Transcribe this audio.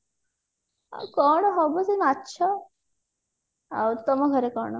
ଆଉ କଣ ହବ ସେଇ ମାଛ ଆଉ ତମ ଘରେ କଣ